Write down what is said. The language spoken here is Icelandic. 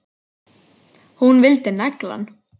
Hún vildi negla hann!